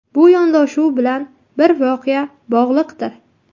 Bu yondashuv bilan bir voqea bog‘liqdir.